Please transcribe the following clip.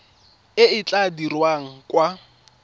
e e tla dirwang kwa